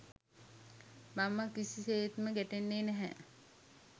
මම කිසි සේත්ම ගැටෙන්නේ නැහැ.